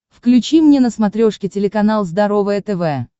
включи мне на смотрешке телеканал здоровое тв